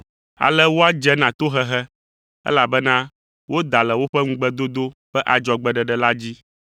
Ale woadze na tohehe, elabena woda le woƒe ŋugbedodo ƒe adzɔgbeɖeɖe la dzi.